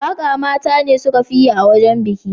Waka mata ne suka fi yi a wajen biki.